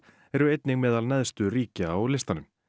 eru einnig meðal neðstu ríkja á listanum